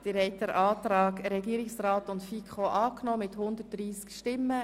Sie haben den Antrag von Regierungsrat und FiKo angenommen.